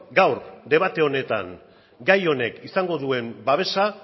gaur debate honetan gai honek izango duen babesa